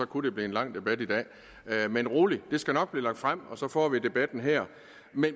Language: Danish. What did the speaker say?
kunne det blive en lang debat i dag men rolig det skal nok blive lagt frem og så får vi debatten her